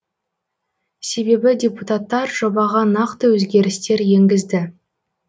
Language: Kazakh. себебі депутаттар жобаға нақты өзгерістер енгізді